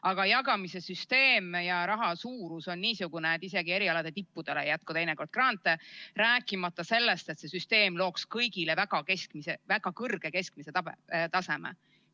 Aga jagamise süsteem ja raha suurus on niisugune, et isegi erialade tippudele ei jätku teinekord grante, rääkimata sellest, et see süsteem looks kõigile väga kõrge keskmise taseme.